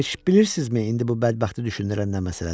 Heç bilirsinizmi indi bu bədbəxti düşündürən nə məsələdir?